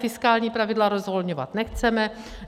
Fiskální pravidla rozvolňovat nechceme.